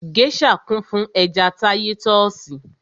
Gèésà kún fún ẹja táyítọ́sì